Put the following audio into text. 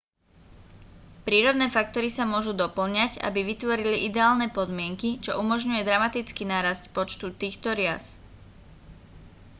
prírodné faktory sa môžu dopĺňať aby vytvorili ideálne podmienky čo umožňuje dramatický nárast počtu týchto rias